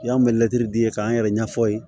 Y'an mɛtiri di ye k'an yɛrɛ ɲɛfɔ ye